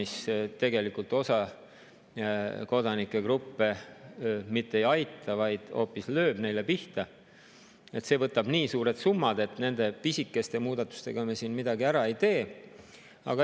See tegelikult aga osa kodanikegruppe mitte ei aita, vaid hoopis lööb neile pihta, ning see võtab nii suured summad, et nende pisikeste muudatustega me siin midagi ära ei tee.